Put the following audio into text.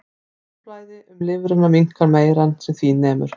Blóðflæði um lifrina minnkar meira en sem því nemur.